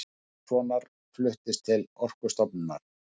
Pálmasonar fluttist til Orkustofnunar.